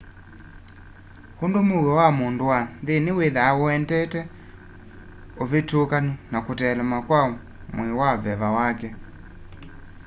undu mũũo wa mũndũ wa nthĩnĩ wĩtha ũendete ũvĩtũkanu na kuteelema kwa mwĩì na veva wake